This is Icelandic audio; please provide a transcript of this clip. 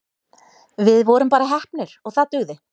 Við vorum bara heppnir og það dugði.